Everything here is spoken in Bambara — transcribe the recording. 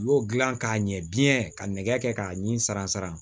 U y'o dilan k'a ɲɛ biɲɛ ka nɛgɛ kɛ k'a ɲimi saran saran